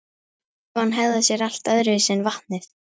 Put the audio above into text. Gufan hegðar sér allt öðruvísi en vatnið.